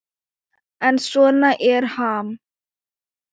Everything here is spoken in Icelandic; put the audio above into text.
En svona er Ham.